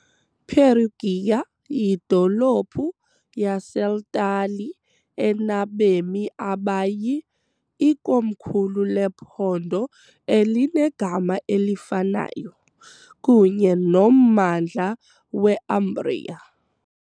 Perugia , yidolophu yaseltali enabemi abayi , ikomkhulu lephondo elinegama elifanayo, kunye nommandla we Umbria .